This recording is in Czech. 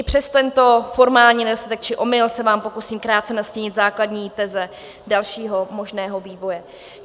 I přes tento formální nedostatek či omyl se vám pokusím krátce nastínit základní teze dalšího možného vývoje.